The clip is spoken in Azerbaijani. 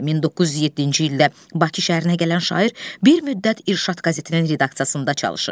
1907-ci ildə Bakı şəhərinə gələn şair bir müddət İrşad qəzetinin redaksiyasında çalışır.